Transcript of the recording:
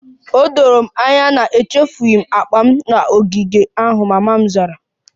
O doro m anya na echefughị m akpa m n'ogige ahụ, mama m zara